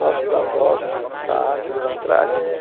Nossos avós, a nossa árvore lá atrás.